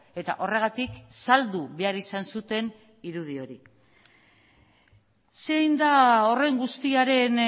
eta horregatik saldu behar izan zuten irudi hori zein da horren guztiaren